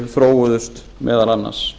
þróuðust meðal annars